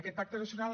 aquest pacte nacional